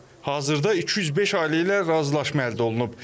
Hazırda 205 ailə ilə razılaşma əldə olunub.